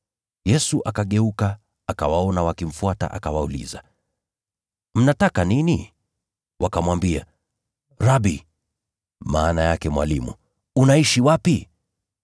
Yesu akageuka, akawaona wakimfuata akawauliza, “Mnataka nini?” Wakamwambia, “Rabi,” (maana yake Mwalimu), “Unaishi wapi?”